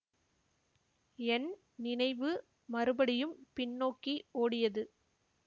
என் நினைவு மறுபடியும் பின்னோக்கி ஓடியது